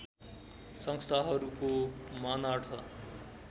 संस्थानहरूको मानार्थ